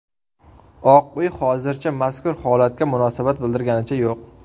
Oq uy hozircha mazkur holatga munosabat bildirganicha yo‘q.